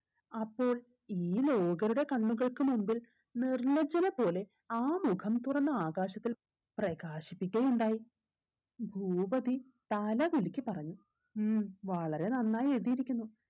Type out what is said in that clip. അപ്പോൾ ഈ ലോകരുടെ കണ്ണുകൾക്ക് മുമ്പിൽ നിർലജ്ജ്വല പോലെ ആ മുഖം തുറന്ന ആകാശത്തിൽ പ്രകാശിപ്പിക്കുകയുണ്ടായി ഭൂപതി തല കുലുക്കി പറഞ്ഞു ഉം വളരെ നന്നായി എഴുതിയിരിക്കുന്നു